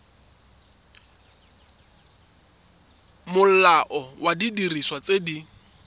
molao wa didiriswa tse di